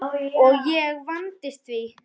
Og ég vandist því.